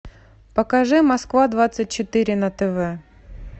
покажи москва двадцать четыре на тв